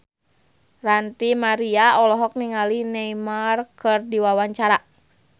Ranty Maria olohok ningali Neymar keur diwawancara